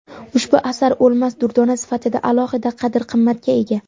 Ushbu asar o‘lmas durdona sifatida alohida qadr-qimmatga ega.